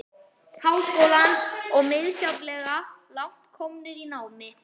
Háskólans og misjafnlega langt komnir í námi.